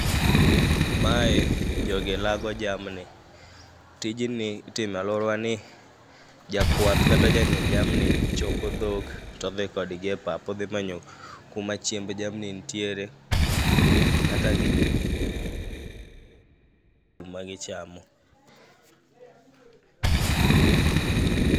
Mae jogi lago jamni, tijni itime alwora wa ni jakwath kata jang'i jamni choko dhok todhi kodgi e pap odhi manyo kuma chiemb jamni nitiere. Kata gi, gima gichamo.